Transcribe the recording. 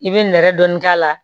I bɛ nɛrɛ dɔɔni k'a la